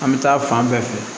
An bɛ taa fan bɛɛ fɛ